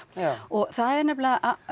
og það er nefnilega